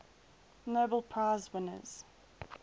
nobel prize winners